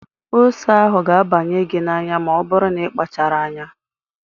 Ose ahụ ga-abanye gị n'anya ma ọ bụrụ na ị kpachara anya.